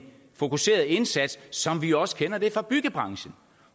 fokuseret indsats som vi også kender det fra byggebranchen